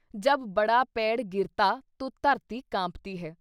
“ਜਬ ਬੜਾ ਪੇੜ ਗਿਰਤਾ ਤੋ ਧਰਤੀ ਕਾਂਪਤੀ ਹੈ’।